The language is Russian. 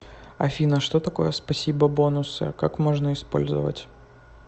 афина что такое спасибо бонусы как можно использовать